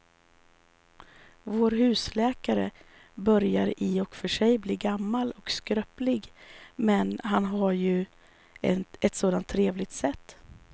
Vår husläkare börjar i och för sig bli gammal och skröplig, men han har ju ett sådant trevligt sätt!